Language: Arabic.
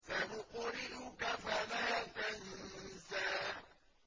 سَنُقْرِئُكَ فَلَا تَنسَىٰ